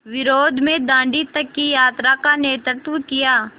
विरोध में दाँडी तक की यात्रा का नेतृत्व किया